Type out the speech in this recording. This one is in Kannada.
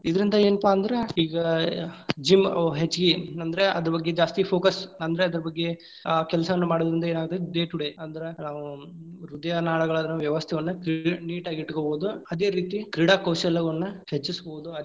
ಇದರಿಂದ ಏನ್ಪಾ ಅಂದ್ರ ಈಗಾ gym ಅ ಹೆಚ್ಚಗಿ ಅಂದ್ರ ಅದರ ಬಗ್ಗೆ ಜಾಸ್ತಿ focus ಅಂದ್ರ ಅದರ ಬಗ್ಗೆ ಆ ಕೆಲಸಾವನ್ನು ಮಾಡೊದ್ರಿಂದ ಏನಾಗ್ತೇತಿ day to day ಅಂದ್ರ ನಾವ್ ಹೃದಯಾನಾಳಗಳ ವ್ಯವಸ್ಥೆಯನ್ನು cle~ neat ಆಗಿ ಇಟ್ಟಕೊಬಹುದು, ಅದೇ ರೀತಿ ಕ್ರೀಡಾಕೌಶಲ್ಯವನ್ನ ಹೆಚ್ಚಿಸಬಹುದು.